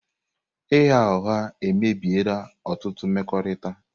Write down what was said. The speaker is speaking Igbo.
Ịgha ụgha emebiela ọtụtụ mmekọrịta.